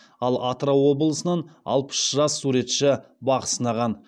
ал атырау облысынан алпыс жас суретші бақ сынаған